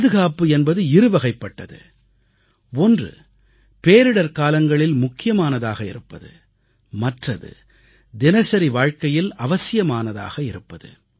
பாதுகாப்பு என்பது இருவகைப்பட்டது ஒன்று பேரிடர்காலங்களில் முக்கியமானதாக இருப்பது மற்றது தினசரி வாழ்க்கையில் அவசியமானதாக இருப்பது